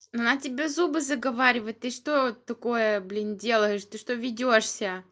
на тебе зубы заговаривать ты что такое блин делаешь ты что ведёшься